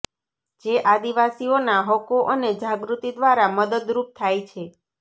જે આદિવાસીઓના હક્કો અને જાગૃત્તિ દ્વારા મદદરૃપ થાય છે